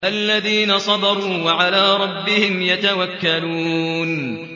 الَّذِينَ صَبَرُوا وَعَلَىٰ رَبِّهِمْ يَتَوَكَّلُونَ